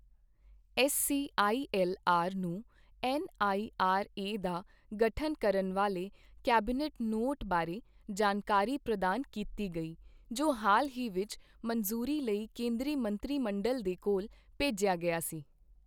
S C I L R ਨੂੰ N I R A ਦਾ ਗਠਨ ਕਰਨ ਵਾਲੇ ਕੈਬਨਿਟ ਨੋਟ ਬਾਰੇ ਜਾਣਕਾਰੀ ਪ੍ਰਦਾਨ ਕੀਤੀ ਗਈ ਜੋ ਹਾਲ ਹੀ ਵਿੱਚ ਮੰਜ਼ੂਰੀ ਲਈ ਕੇਂਦਰੀ ਮੰਤਰੀ ਮੰਡਲ ਦੇ ਕੋਲ ਭੇਜਿਆ ਗਿਆ ਸੀ।